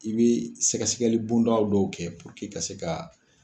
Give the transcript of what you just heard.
I bɛ sɛgɛsɛgɛli bonda dɔw kɛ puruke ka se ka